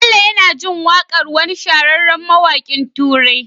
Bello yAna jin waƙar wani shahararren mawakin turai